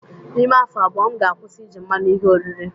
N'ime afọ abụọ, m ga-akwụsị iji mmanụ ihe oriri